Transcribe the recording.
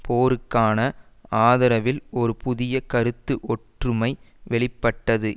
போருக்கான ஆதரவில் ஒரு புதிய கருத்து ஒற்றுமை வெளி பட்டது